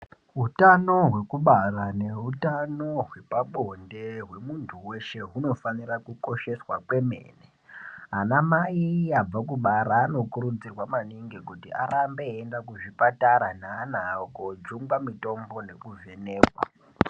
Utano hwekubara neutano hwepabonde hwemuntu weshe hunofanira kukosheswa kweneme. Anamai abva kubara anokurudzirwa maningi kuti arambe eienda kuzvipatara neana awo kojungwa mitombo nekuvhenekwa.